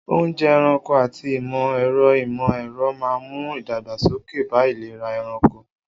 Oúnjẹ ẹranko àti ìmọ̀ ẹ̀rọ ìmọ̀ ẹ̀rọ máa ń mú ìdàgbàsókè bá ìlera ẹranko.